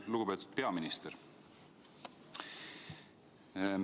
Lugupeetud peaminister!